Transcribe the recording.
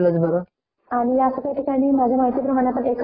असच नाहीत तर इतर देवतांचं पण पूजन होऊ शकत तिथे .